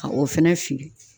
Ka o fɛnɛ fili.